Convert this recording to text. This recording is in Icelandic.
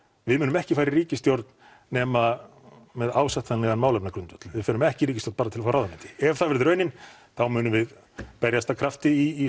við munum ekki fara í ríkisstjórn nema með ásættanlegan málefnagrundvöll við förum ekki í ríkisstjórn bara til að fá ráðuneyti ef það verður raunin þá munum við berjast af krafti í